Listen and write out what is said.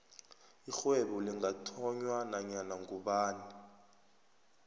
irhwebo lingathonywa nanyana ngubani